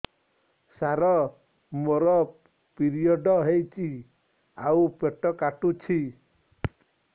ସାର ମୋର ପିରିଅଡ଼ ହେଇଚି ଆଉ ପେଟ କାଟୁଛି